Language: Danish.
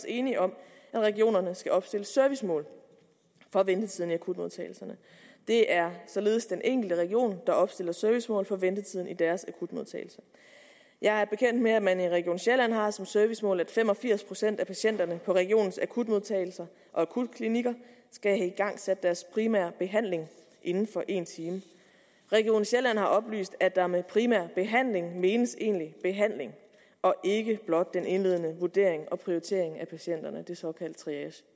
enige om at regionerne skal opstille servicemål for ventetiden i akutmodtagelserne det er således den enkelte region der opstiller servicemål for ventetiden i deres akutmodtagelse jeg er bekendt med at man i region sjælland har som servicemål at fem og firs procent af patienterne på regionens akutmodtagelser og akutklinikker skal have igangsat deres primære behandling inden for en time region sjælland har oplyst at der med primær behandling menes egentlig behandling og ikke blot den indledende vurdering og prioritering af patienterne den såkaldte triage